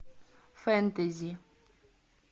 фэнтези